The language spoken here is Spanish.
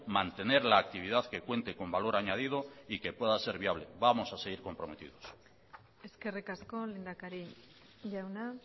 mantener la actividad que cuente con valor añadido y que pueda ser viable vamos a seguir comprometidos eskerrik asko lehendakari jauna